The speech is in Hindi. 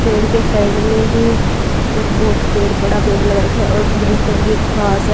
पेड़ के साइड में ही एक बहोत पेड़ बड़ा पेड़ लगा रखा है और ग्रीन कलर की घास है।